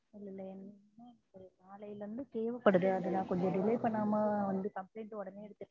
நாளையிலிருந்து தேவைப்படுது அதான் கொஞ்சம delay பண்ணாம கம்ப்ளைன்ட் உடனே எடுத்துக்கிட்டு